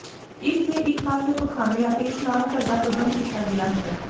ਇਸ ਦੇ ਇਕ ਪਾਸੇ ਪਖਾਨੇ ਅਤੇ ਇਸ਼ਨਾਨ ਘਰ ਦਾ ਪ੍ਰਬੰਧ ਕੀਤਾ ਗਿਆ ਹੈ